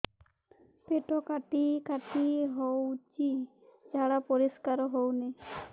ପେଟ କାଟି କାଟି ହଉଚି ଝାଡା ପରିସ୍କାର ହଉନି